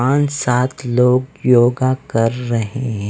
पाँच सात लोग योगा कर रहे हैं।